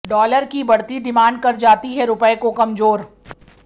dollar की बढ़ती demand कर जाती है रुपये को कमजोर